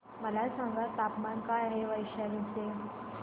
मला सांगा तापमान काय आहे वैशाली चे